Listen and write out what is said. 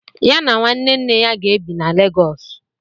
Ya na nwanne nne ya ga-ebi na Lagos.